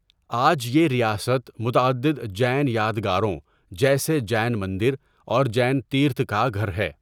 آج یہ ریاست متعدد جین یادگاروں جیسے جین مندر اور جین تیرتھ کا گھر ہے۔